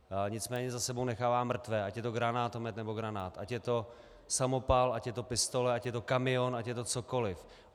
Nicméně za sebou nechává mrtvé, ať je to granátomet, nebo granát, ať je to samopal, ať je to pistole, ať je to kamion, ať je to cokoliv.